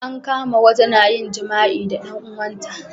an kama wata na yin jima'i da dan uwan ta